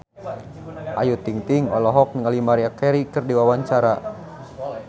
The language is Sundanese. Ayu Ting-ting olohok ningali Maria Carey keur diwawancara